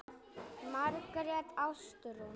Margrét Ástrún.